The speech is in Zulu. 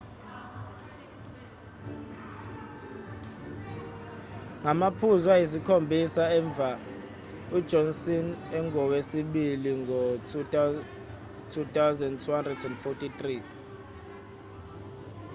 ngamaphuzu ayisikhombisa emuva ujohnson ungowesibili ngo-2,243